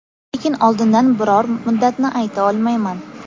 Lekin oldindan biror muddatni ayta olmayman.